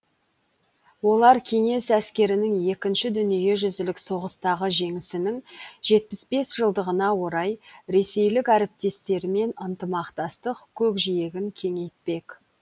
олар кеңес әскерінің екінші дүниежүзілік соғыстағы жеңісінің жетпіс бес жылдығына орай ресейлік әріптестерімен ынтымақтастық көкжиегін кеңейтпек